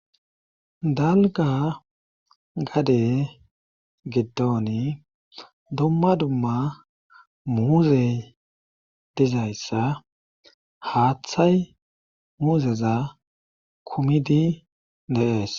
dalga gade giddooni dumma dumma muuzey dizayssa haaththay muuzeza kumidi deees